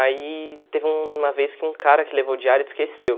Aí teve uma vez que um cara que levou o diário esqueceu.